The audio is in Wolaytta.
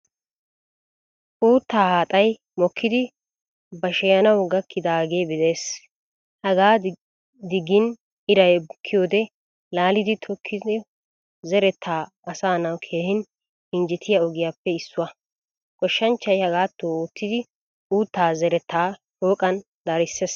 Uuttaa haaxay mokkidi basheyanawu gakkidage de'ees. Hagaa digin iray bukkiyode laalidi tokkiko zeretta aasanawu keehin injjettiyaa ogiyaappe issuwaa. Goshshanchchay hagaato oottidi uuttaa zeretta shooqqan darisees.